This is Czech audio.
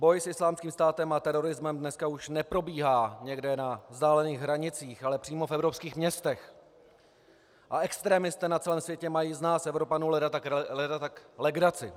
Boj s Islámským státem a terorismem dneska už neprobíhá někde na vzdálených hranicích, ale přímo v evropských městech a extremisté na celém světě mají z nás Evropanů leda tak legraci.